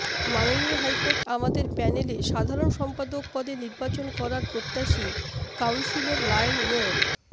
মাননীয় হাইকোর্ট আমাদের প্যানেলে সাধারণ সম্পাদক পদে নির্বাচন করার প্রত্যাশী কাউন্সিলর লায়ন মো